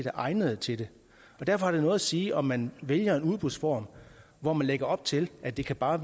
er egnet til det derfor har det noget at sige om man vælger en udbudsform hvor man lægger op til at det bare